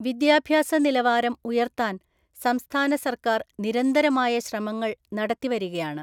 വിദ്യാഭ്യാസ നിലവാരം ഉയർത്താൻ സംസ്ഥാന സർക്കാർ നിരന്തരമായ ശ്രമങ്ങൾ നടത്തിവരികയാണ്.